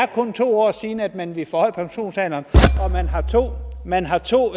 det kun to år siden at man ville forhøje pensionsalderen og man har to